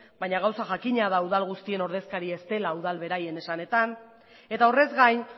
baina gauza jakina da udal guztien ordezkaria ez dela udal beraren esanetan eta horrez gain